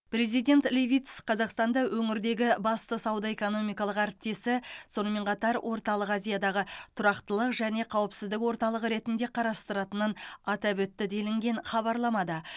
президент левитс қазақстанда өңірдегі басты сауда экономикалық әріптесі сонымен қатар орталық азиядағы тұрақтылық және қауіпсіздік орталығы ретінде қарастыратынын атап өтті делінген хабарламада